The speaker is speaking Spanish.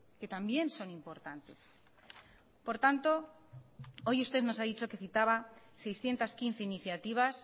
que también son importantes por tanto hoy usted nos ha dicho que citaba seiscientos quince iniciativas